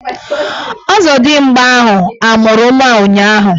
Ọzọdimgba ahụ amụrụ nwa ụnyahụ?